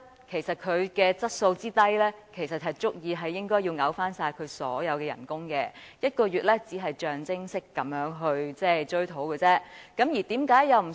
其實，以他質素之低，本應該要求他退回所有薪酬，削減1個月薪酬只是象徵式追討而已。